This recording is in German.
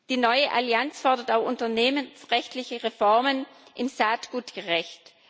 Die neue Allianz fordert auch unternehmensrechtliche Reformen im Saatgutrecht.